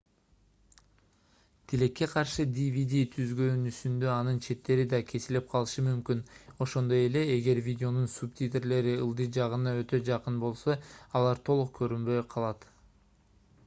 тилекке каршы dvd түзгөнүңүздө анын четтери да кесилип калышы мүмкүн ошондой эле эгер видеонун субтитрлери ылдый жагына өтө жакын болсо алар толук көрүнбөй калат